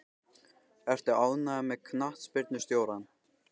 Ertu ánægður með knattspyrnustjórann?